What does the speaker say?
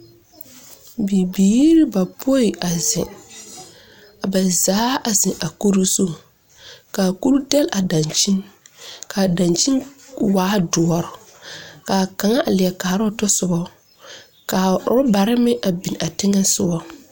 Bibiiri bapoi a zeŋ, ba zaa a zeŋ a kuri zu, ka a kuri dɛle a dankyin, ka worebare meŋ biŋ a teŋa soɔ. 13367